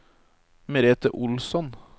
Merete Olsson